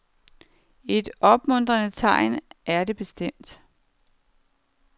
Et opmuntrende tegn er det bestemt.